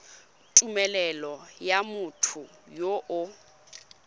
tumelelo ya motho yo o